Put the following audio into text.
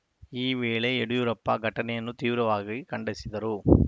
ಈ ವೇಳೆ ಯಡಿಯೂರಪ್ಪ ಘಟನೆಯನ್ನು ತೀವ್ರವಾಗಿ ಖಂಡಿಸಿದರು